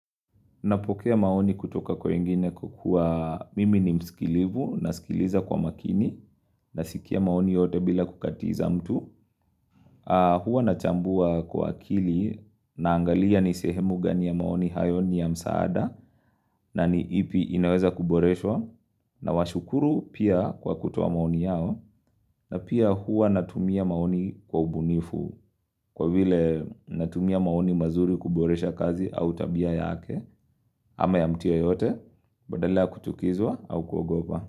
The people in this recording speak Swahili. Napokea maoni kutoka kwa wengine kwa kua mimi ni mskilivu, nasikiliza kwa makini, nasikia maoni yote bila kukatiza mtu. Hua nachambua kwa akili naangalia ni sehemu gani ya maoni hayo ni ya msaada na ni ipi inaweza kuboreshwa na washukuru pia kwa kutoa maoni yao na pia hua natumia maoni kwa ubunifu kwa vile natumia maoni mazuri kuboresha kazi au tabia yake ama ya mtu yeyote. Badala ya kutukizwa au kuwagopa.